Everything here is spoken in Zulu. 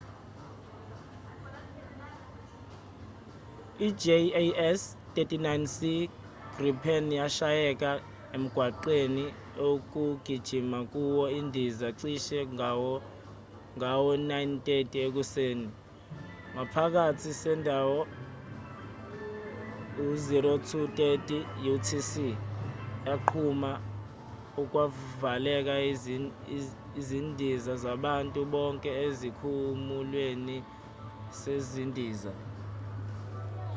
i-jas 39c gripen yashayeka emgwaqweni okugijima kuwo indiza cishe ngawo- 9: 30 ekuseni ngekhathi sendawo 0230 utc yaqhuma okwavala izindiza zabantu bonke esikhumulweni sezindiza